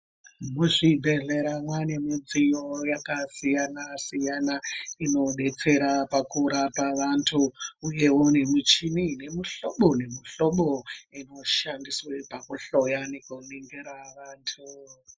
Muzvibhedhlera mwaane midziyo yakasiyana siyana inodetsera pakurapa vantu uyewo ne muchini yemuhlobo nemihlobo inoshandiswe pakuhloya nekuningira vantu.